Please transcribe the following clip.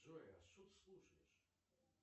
джой а что ты слушаешь